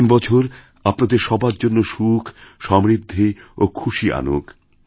নতুন বছরআপনাদের সবার জন্য সুখ সমৃদ্ধি ও খুশি আনুক